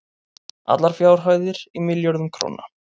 allar fjárhæðir í milljörðum króna